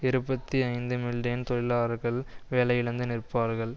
இருபத்தி ஐந்து மில்லியன் தொழிலாளர்கள் வேலை இழந்து நிற்பார்கள்